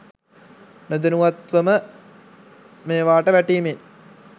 නොදැනුවත්ව ම මේවාට වැටීමේන්